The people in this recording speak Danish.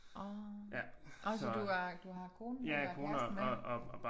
Ah så du har du har konen med eller kæreste med